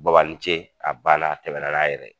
Baba ni ce! A banna a tɛmɛna n'a yɛrɛ.